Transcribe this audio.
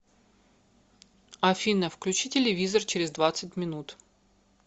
афина включи телевизор через двадцать минут